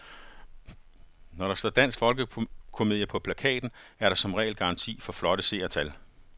Når der står dansk folkekomedie på plakaten, er der som regel garanti for flotte seertal.